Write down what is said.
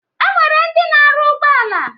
E nwere ndị na-arụ ụgbọala.